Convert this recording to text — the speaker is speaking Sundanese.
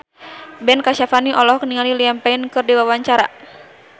Ben Kasyafani olohok ningali Liam Payne keur diwawancara